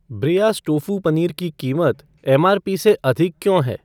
ब्रियाज़ tofu paneer की कीमत MRP से अधिक क्यों है?